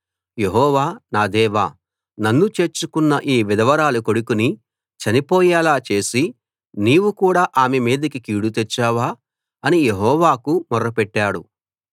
యెహోవా నా దేవా నన్ను చేర్చుకున్న ఈ విధవరాలి కొడుకుని చనిపోయేలా చేసి నీవు కూడా ఆమె మీదికి కీడు తెచ్చావా అని యెహోవాకు మొర్రపెట్టాడు